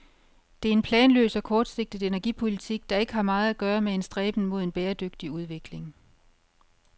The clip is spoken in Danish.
Det er en planløs og kortsigtet energipolitik, der ikke har meget at gøre med en stræben mod en bæredygtig udvikling.